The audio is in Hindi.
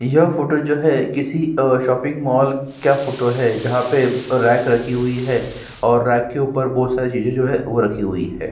यह फोटो जो है अ किसी शॉपिंग मॉल का फोटो है जहाँ पे रेक रखी हुई है और रेक के ऊपर बहुत सारी चीजे जो हैं वो रखी हुई हैं।